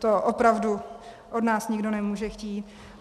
To opravdu od nás nikdo nemůže chtít.